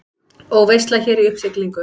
Og veisla hér í uppsiglingu.